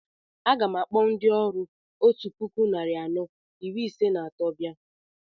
A gam akpọ ndị ọrụ otú puku narị anọ iri ise na atọ bia